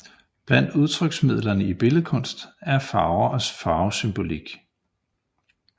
Blandt udtryksmidlerne i billedkunsten er farver og farvesymbolik